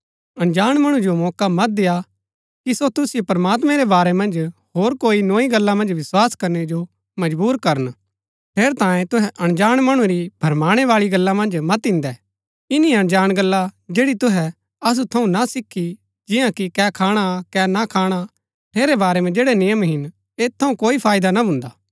अनजाण मणु जो मौका मत देय्आ को सो तुसिओ प्रमात्मैं रै बारै मन्ज होर कोई नोई गल्ला मन्ज विस्वास करनै जो मजबुर करन ठेरैतांये तुहै अनजाण मणु री भरमाणै बाळी गल्ला मन्ज मत इन्दै इन्‍नी अनजाण गल्ला जैड़ी तुहै असु थऊँ ना सीखी जिन्या कि कै खाणा कै ना खाणा ठेरै बारै मन्ज जैड़ै नियम हिन ऐत थऊँ कोई फाईदा ना भुन्दा